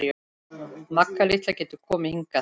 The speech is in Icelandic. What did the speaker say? Magga litla getur komið hingað.